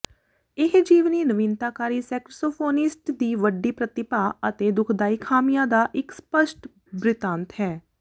ਇਹ ਜੀਵਨੀ ਨਵੀਨਤਾਕਾਰੀ ਸੇਕ੍ਸੋਫੋਨਿਸਟ ਦੀ ਵੱਡੀ ਪ੍ਰਤਿਭਾ ਅਤੇ ਦੁਖਦਾਈ ਖਾਮੀਆਂ ਦਾ ਇੱਕ ਸਪੱਸ਼ਟ ਬਿਰਤਾਂਤ ਹੈ